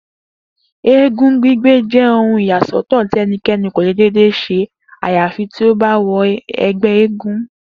Eégún gbígbé je̩ ohun ìyàsó̩tò̩ tí e̩niké̩ni kò lè dédé s̩e àyàfi tí ó bá wo̩ e̩gbé̩ eégún